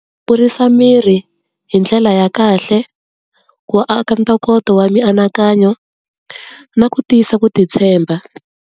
Ku kurisa miri hi ndlela ya kahle, ku aka ntoko wa miankanyo na ku tiyisa kutitshemba.